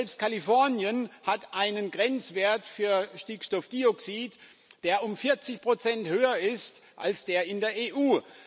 Aber selbst Kalifornien hat einen Grenzwert für Stickstoffdioxid, der um 40 höher ist als der in der EU.